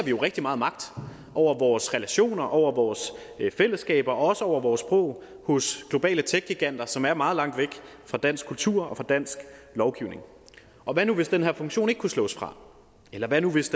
vi jo rigtig meget magt over vores relationer og fællesskaber og også over vores sprog hos globale techgiganter som er meget langt væk fra dansk kultur og dansk lovgivning og hvad nu hvis den her funktion ikke kunne slås fra eller hvad nu hvis